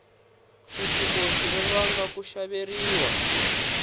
khisimusi ri vanga ku xaveriwa